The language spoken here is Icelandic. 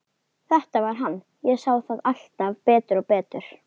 Þetta var hann, ég sá það alltaf betur og betur.